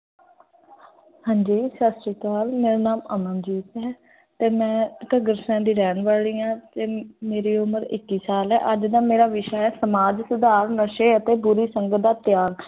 ਹਾਂ ਜੀ ਸਤਿ ਸ੍ਰੀ ਅਕਾਲ, ਮੇਰਾ ਨਾਮ ਅਮਨਜੀਤ ਹੈ ਤੇ ਮੈਂ ਘੱਗਰ ਦੀ ਰਹਿਣ ਵਾਲੀ ਆਂ ਤੇ ਮੇਰੀ ਉਮਰ ਇੱਕੀ ਸਾਲ ਹੈ, ਅੱਜ ਦਾ ਮੇਰਾ ਵਿਸ਼ਾ ਹੈ ਸਮਾਜ ਸੁਧਾਰ, ਨਸ਼ੇ ਅਤੇ ਬੁਰੀ ਸੰਗਤ ਦਾ ਤਿਆਗ।